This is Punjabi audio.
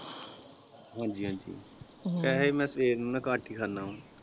ਹਾਂਜੀ ਹਾਂਜੀ ਵੈਸੇ ਮੈਂ ਸਵੇਰ ਨੂੰ ਨਾ ਘਟ ਹੀ ਖਾਣਾ ਵਾ।